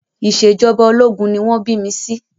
Ìṣèjọba ológun ni wọ́n bí mi sí